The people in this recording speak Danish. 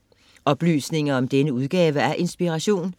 Oplysninger om denne udgave af Inspiration